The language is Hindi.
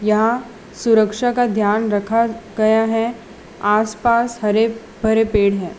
यहां सुरक्षा का ध्यान रखा गया है आसपास हरे भरे पेड़ हैं।